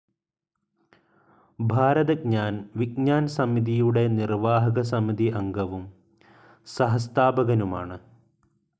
ഭാരത് ജ്ഞാൻ വിജ്ഞാൻ സമിതിയുടെ നിർവാഹകസമിതി അംഗവും സഹസ്ഥാപകനുമാണ്.